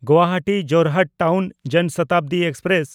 Guwahati Jorhat town Jan Shatabdi express